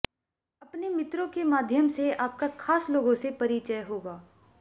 अपने मित्रों के माध्यम से आपका खास लोगों से परिचय होगा